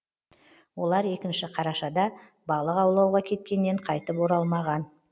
олар екінші қарашада балық аулауға кеткеннен қайтып оралмаған